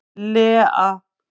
Lea